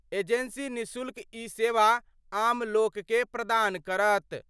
Agency निशुल्क ई सेवा आम लोक के प्रदान करत।